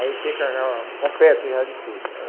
Aí fica completo já de tudo.